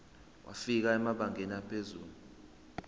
wafika emabangeni aphezulu